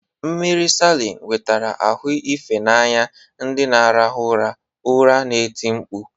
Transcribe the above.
Mmiri salin wetara ahụ efe n'anya ndị na-arahụ ụra, ụra na-eti mkpu.